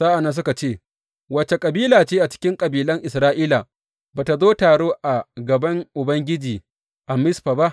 Sa’an nan suka ce, Wace kabila ce cikin kabilan Isra’ila ba tă zo taro a gaban Ubangiji a Mizfa ba?